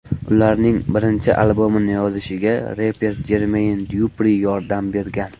Ularning birinchi albomini yozishiga reper Jermeyn Dyupri yordam bergan.